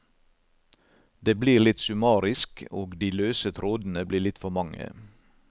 Det blir litt summarisk og de løse trådene blir litt for mange.